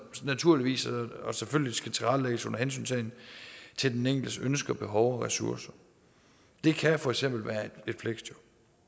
naturligvis og selvfølgelig skal tilrettelægges under hensyntagen til den enkeltes ønsker og behov og ressourcer det kan for eksempel være et fleksjob